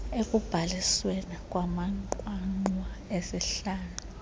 ekubhalisweni kwamanqwanqwa esihlanu